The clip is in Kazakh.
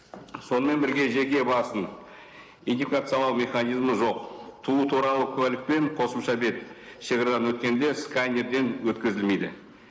сонымен бірге жеке басын идентификациялау механизмі жоқ туу туралы куәлік пен қосымша бет шегарадан өткенде сканерден өткізілмейді